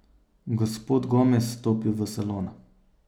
Gospod Gomez stopi v salon.